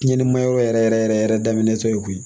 Tiɲɛnima yɔrɔ yɛrɛ yɛrɛ yɛrɛ yɛrɛ daminɛ to yen koyi